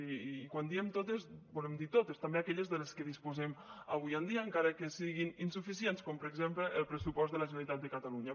i quan diem totes volem dir totes també aquelles de les que disposem avui en dia encara que siguin insuficients com per exemple el pressupost de la generalitat de catalunya